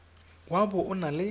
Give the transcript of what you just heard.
wa bo o na le